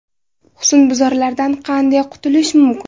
Husnbuzarlardan qanday qutulish mumkin?